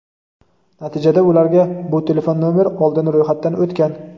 Natijada ularga "Bu telefon nomer oldin ro‘yxatdan o‘tgan!"